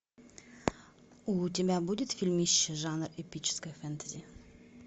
у тебя будет фильмище жанр эпическое фэнтези